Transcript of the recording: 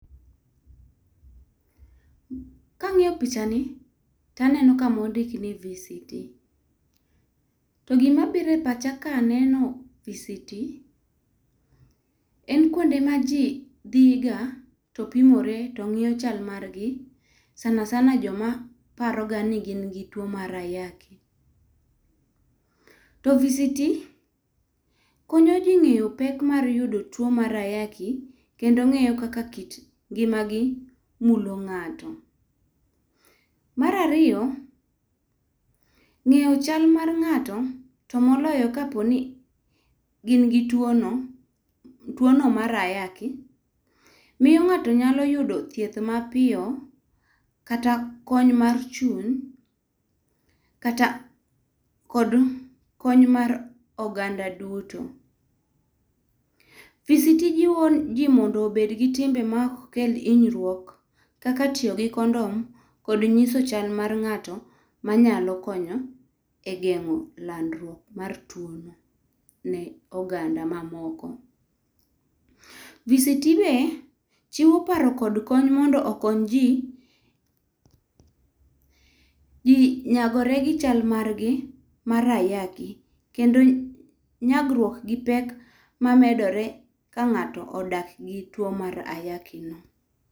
Kang'iyo pichani taneno kama ondik ni VCT,to gimabiro e pacha kaneno VCT en kwonde ma ji dhi ga to pimore to ng'iyo chal margi, sanasana joma paroga ni gin gi tuwo mar ayaki. To VCT konyo ji ng'eyo pek mar yudo tuwo mar ayaki, kendo ng'eyo kaka kit ngimagi mulo ng'ato. Mar ariyo, ng'eyo chal mar ng'ato ,to moloyo kaponi gin gi tuwono ,tuwono mar ayaki, miyo ng'ato nyalo yudo thieth mapiyo kata kony mar chul kata kod kony mar oganda duto. VCT jiwo ji mondo obed gi timbe ma ok kel hinyruok kaka tiyo gi condom, kod nyiso chal mar ng'ato ma nyalo konyo geng'o landruok mar tuwono ne oganda mamoko. VCT be chiwo paro kod kony mondo okony ji ,nyagore gi chal margi mar ayaki kendo nyagruok gi pek mamedore ka ng'ato odak gi tuwo mar ayakino.